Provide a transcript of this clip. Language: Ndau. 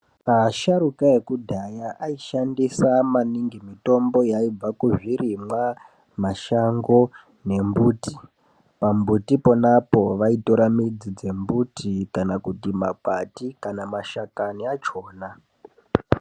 Asharuka ekudhaya aishandisa maningi mitombo yaibva kuzvirimwa, mashango nembuti .Pambuti pona apo vaitora midzi dzembuti kana makwati kana kuti mashakanyi achhona.